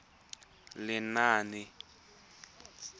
lenaane